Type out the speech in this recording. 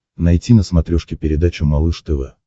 найти на смотрешке передачу малыш тв